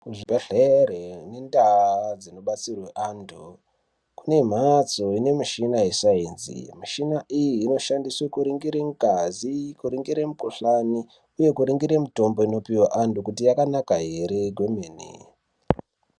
Zvibhedhlera nendau dzinobatsirwa antu dzine mhatso ine michina wesainzi mishina iyi inoshandiswa kuningira ngazi kuringire mukuhlani nekuningira mitombo inopiwa vantu kuti yakanaka here kwemene.